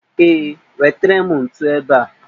Ee, wetere m ntu ebe a